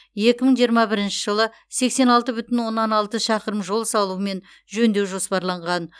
екі мың жиырма бірінші жылы сексен алты бүтін оннан алты шақырым жол салу мен жөндеу жоспарланған